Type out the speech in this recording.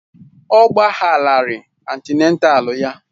Ọ gbagharaghị antịnátál ya